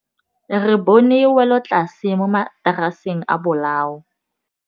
Re bone wêlôtlasê mo mataraseng a bolaô.